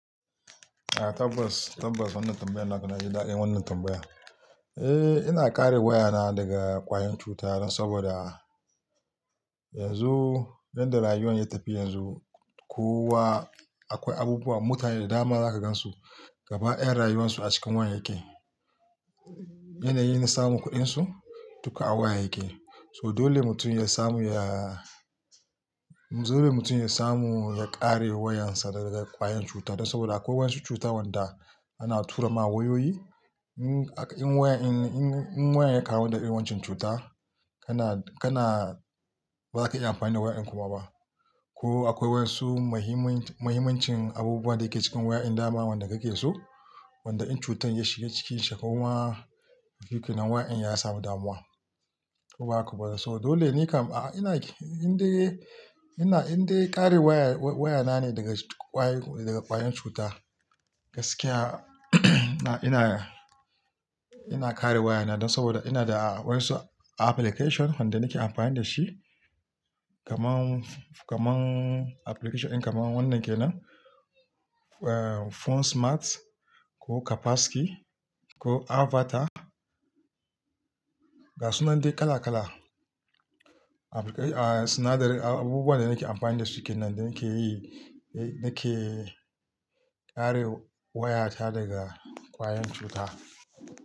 A tabbas, tabbas wannan tambayan naka, na ji daɗin wannan tambaya. Eh, ina kare wayana daga ƙwayan cutta dan saboda, yanzu, yanda rayuwar ya tafi yanzu, kowa akwai abubuwa, mutane da dama zaka gansu gaba daƴan rayuwansu a cikin wayyake. Yanayin na samu kuɗinsu duka a wayyake. So dole mutum ya samu ya, dole mutum ya samu ya kare wayan sa daga ƙwayan cuta. Dan saboda akwai wasu cuta wanda ana tura ma wayoyi. In wayan, in wayan ya kawo ɗabi'un wancan cuta, kana, kana baka iya amfani da wayan kuma ba. Ko akwai wasu mahimmanci, mahimmancin abubuwan da yake cikin waya, dama wanda kake so, wanda in cutan ya shiga cikinsa koma shikenan waya din ya samu damuwa, ko ba haka. So dole ne kam a ina, in dai, ina in dai kare waya, wayana ne daga ƙwayoyi, daga ƙwayan cuta gaskiya ina, ina kare wayana. Dan saboda ina da wasu application wanda nake amfani dashi, kaman, kaman application in kam wannan kenan Phone smart ko Capaski ko Avatar. Ga su nan dai kala kala. Sinadari abubuwan da nake amfani dasu kenan da nake yi, nake kare wayata daga ƙwayen cuta.